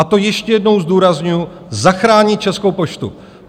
A to ještě jednou zdůrazňuji: zachránit Českou poštu.